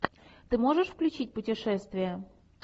ты можешь включить путешествия